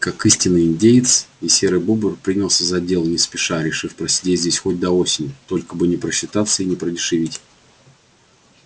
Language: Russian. и как истинный индеец серый бобр принялся за дело не спеша решив просидеть здесь хоть до осени только бы не просчитаться и не продешевить